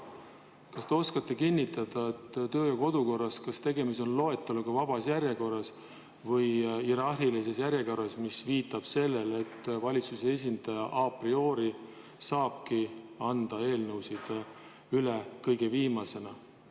Kas oskate öelda, kas kodu- ja töökorras on tegemist loeteluga vabas järjekorras või hierarhilises järjekorras, mis viitab sellele, et valitsuse esindaja a priori saabki anda eelnõusid üle kõige viimasena?